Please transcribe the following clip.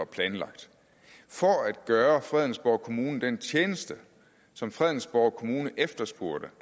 planlagt for at gøre fredensborg kommune den tjeneste som fredensborg kommune efterspurgte